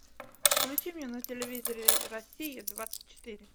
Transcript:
включи мне на телевизоре россия двадцать четыре